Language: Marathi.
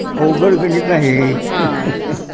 अवघड गणित आहे